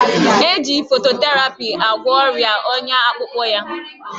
Eji fototerapi agwọ ọrịa ọnya akpụkpọ ya